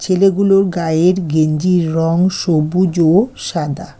ছেলেগুলোর গায়ের গেঞ্জির রং সবুজ ও সাদা।